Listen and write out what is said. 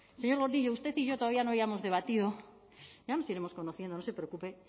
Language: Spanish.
señor gordillo usted y yo todavía no habíamos debatido ya nos iremos conociendo no se preocupe